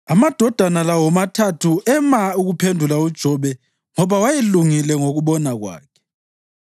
Amadoda la womathathu ema ukuphendula uJobe ngoba wayelungile ngokubona kwakhe.